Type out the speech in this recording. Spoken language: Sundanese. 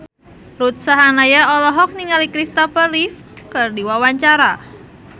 Ruth Sahanaya olohok ningali Christopher Reeve keur diwawancara